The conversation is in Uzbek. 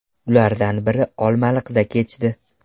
Ulardan biri Olmaliqda kechdi .